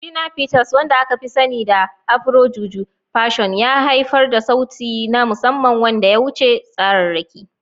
Shina Peters, wanda aka fi sani da Afro-Juju fusion, ya haifar da sauti na musamman wanda ya wuce tsararraki.